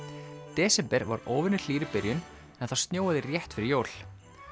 desember var óvenju hlýr í byrjun en það snjóaði rétt fyrir jól